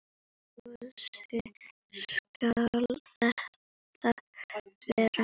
Gosi skal það vera.